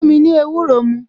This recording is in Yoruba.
Fún mi ní ewúro mu